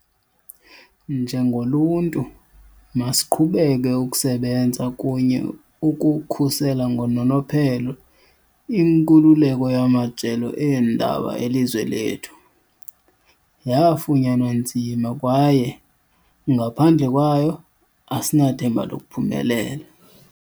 Njengoluntu, masiqhubeke ukusebenza kunye ukukhusela ngononophelo inkululeko yamajelo eendaba elizwe lethu. Yafunyanwa nzima kwaye ngaphandle kwayo, asinathemba lokuphumelela.